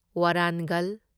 Warangal